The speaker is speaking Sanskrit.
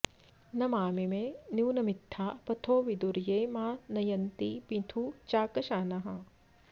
न मामिमे नूनमित्था पथो विदुर्ये मा न यन्ति मिथु चाकशानाः